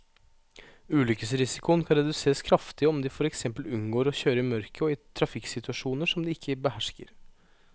Ulykkesrisikoen kan reduseres kraftig om de for eksempel unngår å kjøre i mørket og i trafikksituasjoner som de ikke behersker.